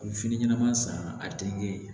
A bɛ fini ɲɛnama san a tɛ kɛ